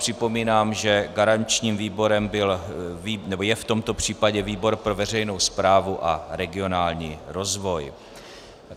Připomínám, že garančním výborem je v tomto případě výbor pro veřejnou správu a regionální rozvoj.